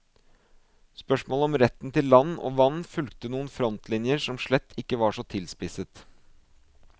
Spørsmålet om retten til land og vann fulgte noen frontlinjer som slett ikke var så tilspisset.